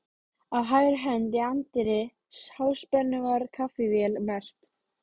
Á hægri hönd í anddyri Háspennu var kaffivél merkt